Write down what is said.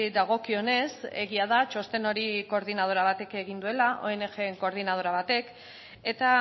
dagokionez egia da txosten hori koordinadora batek egin duela ong en koordinadora batek eta